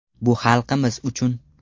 Bu xalqimiz uchun.